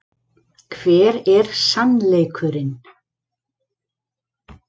Hver er SANNLEIKURINN?